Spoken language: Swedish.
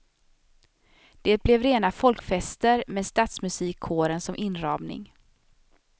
Det blev rena folkfester med stadsmusikkåren som inramning.